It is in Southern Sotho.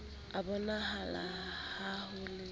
a bonahala ha ho le